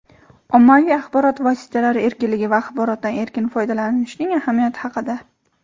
ommaviy axborot vositalari erkinligi va axborotdan erkin foydalanishning ahamiyati haqida.